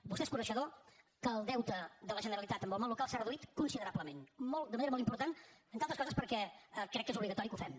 vostè es coneixedor que el deute de la generalitat amb el món local s’ha reduït considerablement de manera molt important entre altres coses perquè crec que és obligatori que ho fem